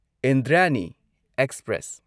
Indrayani express